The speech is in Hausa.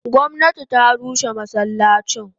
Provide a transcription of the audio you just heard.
Gomnati ta rushe masallacin.